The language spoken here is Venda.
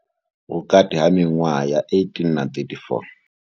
Vhukati ha miṅwaha ya 18 na 34.